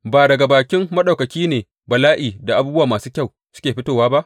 Ba daga bakin Maɗaukaki ne bala’i da abubuwa masu kyau suke fitowa ba?